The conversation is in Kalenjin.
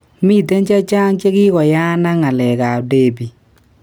Miten chechaang chekikoyaan ak galek ap Debbie